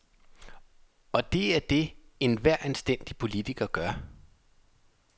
Og det er det, enhver anstændig politiker gør.